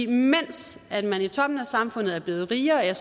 mens man i toppen af samfundet er blevet rigere er